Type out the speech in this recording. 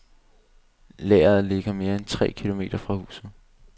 Lageret ligger mere end tre kilometer fra huset.